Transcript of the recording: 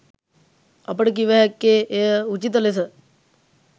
අපට කිව හැක්කේ එය උචිත ලෙස